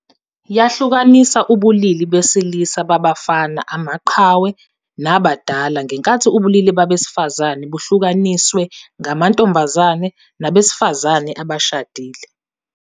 Yahlukanisa ubulili besilisa babafana, amaqhawe nabadala ngenkathi ubulili besifazane buhlukaniswe ngamantombazane nabesifazane abashadile.